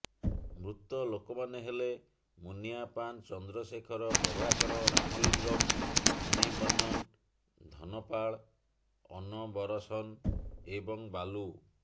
ମୃତ ଲୋକମାନେ ହେଲେ ମୁନ୍ନିୟାପାନ ଚନ୍ଦ୍ରଶେଖର ପ୍ରଭାକର ରାମଲିଙ୍ଗମ୍ ମଣିବନ୍ନନ ଧନପାଳ ଅନବରସନ ଏବଂ ବାଲୁ